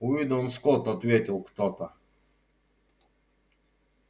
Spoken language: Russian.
уидон скотт ответил кто-то